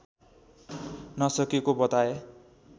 नसकेको बताए